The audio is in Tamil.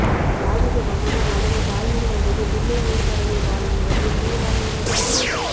யார் வீட்டு மகனோ மகனோ தாய் வீடு வந்தது பிள்ளை நீர்ப்பறவை வாழும் நிலத்தில் நீ வாழ இடமா இல்லை